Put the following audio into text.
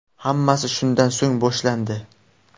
Hammasi shundan so‘ng boshlandi.